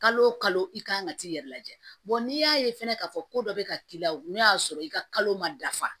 Kalo o kalo i kan ka t'i yɛrɛ lajɛ n'i y'a ye fɛnɛ k'a fɔ ko dɔ be ka k'i la o n'o y'a sɔrɔ i ka kalo ma dafa